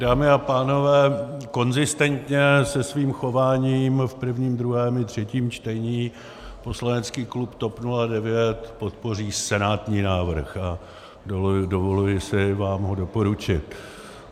Dámy a pánové, konzistentně se svým chováním v prvním druhém i třetím čtení poslanecký klub TOP 09 podpoří senátní návrh a dovoluji si vám ho doporučit.